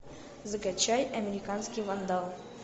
закачай американский вандал